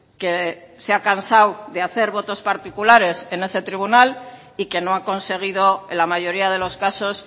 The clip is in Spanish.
que se ha cansado de hacer votos particulares en ese tribunal y que no ha conseguido en la mayoría de los casos